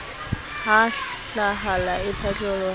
ha hlahala e phatloha e